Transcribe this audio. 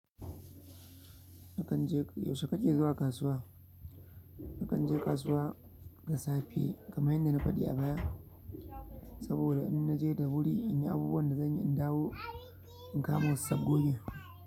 Akan je yaushe ka ke zuwa kasuwa? Akan je kasuwa da safe kamar yadda na faɗi a baya. Saboda in naje da wuri in yi abubuwan da zan yi in dawo in kamo sabgogi.